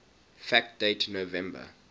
fact date november